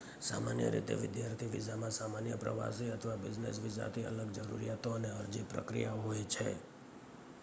સામાન્ય રીતે વિદ્યાર્થી વિઝામાં સામાન્ય પ્રવાસી અથવા બિઝનેસ વિઝાથી અલગ જરૂરિયાતો અને અરજી પ્રક્રિયાઓ હોય છે